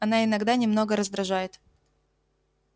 она иногда немного раздражает